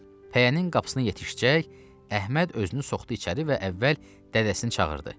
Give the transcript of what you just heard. Pəyənin qapısını yetişəcək Əhməd özünü soxdu içəri və əvvəl dədəsini çağırdı.